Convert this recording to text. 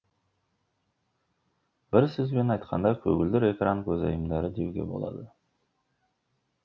бір сөзбен айтқанда көгілдір экран көзайымдары деуге болады